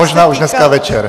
Možná už dneska večer.